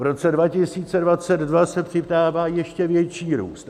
V roce 2022 se přidává ještě větší růst.